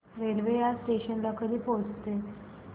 railway या station ला कधी पोहचते